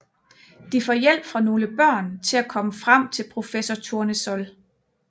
De får hjælp fra nogle børn til at komme frem til professor Tournesol